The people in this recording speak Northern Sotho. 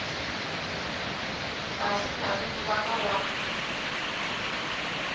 fase ngwageng wa ka wa